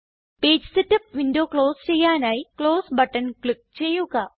page setup window close ചെയ്യാനായി close button click ചെയ്യുക